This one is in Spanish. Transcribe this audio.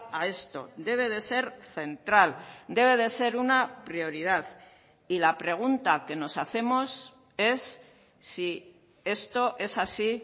a esto debe de ser central debe de ser una prioridad y la pregunta que nos hacemos es si esto es así